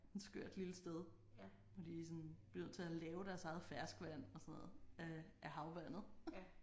En skørt lille sted. Hvor de sådan bliver nødt til at lave deres eget ferskvand og sådan noget af af havvandet